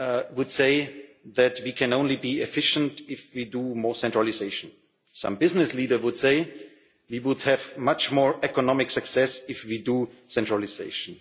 would say that we can only be efficient if we do more centralisation. Some business leaders would say we would have much more economic success if we do centralisation.